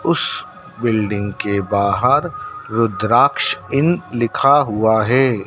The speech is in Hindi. उस बिल्डिंग के बाहर रूद्राक्ष इन लिखा हुआ है।